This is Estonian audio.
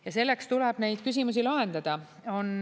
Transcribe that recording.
Ja sellepärast tuleb neid küsimusi lahendada.